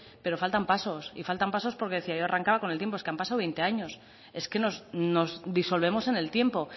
pero faltan pasos y faltan pasos porque decía yo arrancaba con el tiempo es que han pasado veinte años es que nos disolvemos en el tiempo